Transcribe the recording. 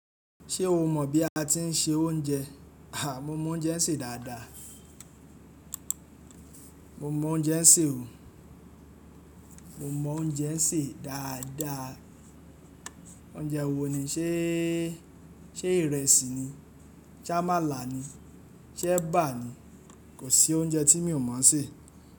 Ṣé o mọ bí a ti ń se oúnjẹ. Aà, mo mọ oúnjẹ ń ṣe dáadáa. Mo mọ oúnjẹ ń ṣe o. Mo mọ oúnjẹ ń ṣe dáadáa. Oúnjẹ wo ni, ṣe, ṣe ìrẹsì ni? Ṣé àmàlà ni? Ṣé ẹ̀bà ni? Kò sí oúnjẹ tí mi ò mọ̀ ṣé.